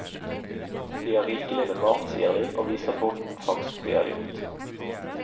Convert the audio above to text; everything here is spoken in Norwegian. De har rikelig med mat, sier de , og viser bonden fangsten de har gjort.